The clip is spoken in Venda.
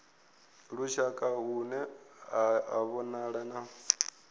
lushaka hune ha vhonala na